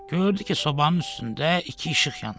Gördü ki, sobanın üstündə iki işıq yanır.